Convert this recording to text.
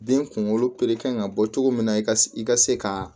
Den kunkolo kan ka bɔ cogo min na ka se i ka se ka